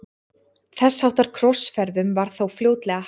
Þess háttar krossferðum var þó fljótlega hætt.